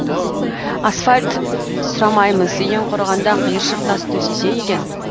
асфальт сұрамаймыз ең құрығанда қайыршық тас төсесе екен